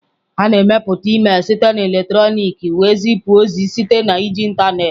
A na-emepụta email site na eletrọnịkị wee zipụ ozi site na iji ịntanetị.